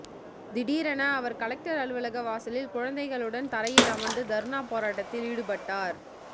திடீரென அவர் கலெக்டர் அலுவலக வாசலில் குழந்தைகளுடன் தரையில் அமர்ந்து தர்ணா போராட்டத்தில் ஈடுபட்டார்